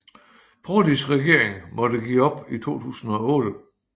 Prodis regering måtte give op i 2008